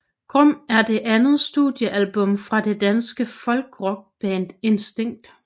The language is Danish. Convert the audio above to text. Grum er det andet studiealbum fra det danske folkrockband Instinkt